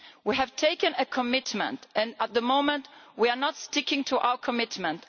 We have taken a commitment, and at the moment we are not sticking to our commitment.